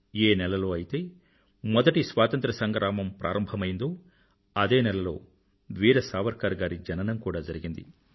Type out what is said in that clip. ఏ నెలలో అయితే మొదటి స్వాతంత్ర సంగ్రామం ప్రారంభమయ్యిందో అదే నెలలో వీర సావర్కర్ గారి జననం కూడా జరిగింది